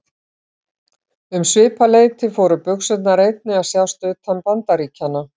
Um svipað leyti fóru buxurnar einnig að sjást utan Bandaríkjanna.